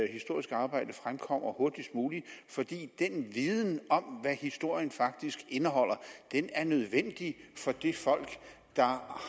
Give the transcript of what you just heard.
historiske arbejde fremkommer hurtigst muligt fordi den viden om hvad historien faktisk indeholder er nødvendig for det folk der